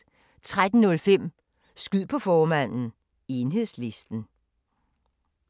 13:05: Skyd på formanden: Enhedslisten